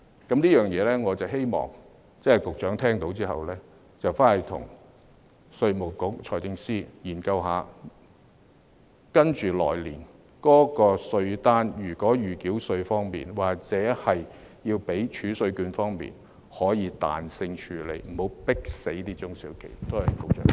就這一點，我希望局長聽到後，回去跟稅務局和財政司司長研究一下，來年的稅單在預繳稅或儲稅券方面，可以彈性處理，不要迫死中小企。